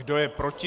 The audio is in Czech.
Kdo je proti?